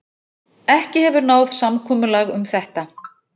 Ekki hefur náð samkomulag um þetta